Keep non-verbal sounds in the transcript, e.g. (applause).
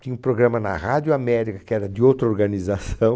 Tinha um programa na Rádio América, que era de outra organização. (laughs)